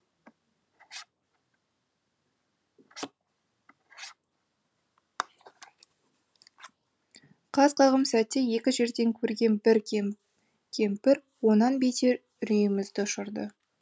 қас қағым сәтте екі жерден көрген бір кемпір онан бетер үрейімізді ұшырды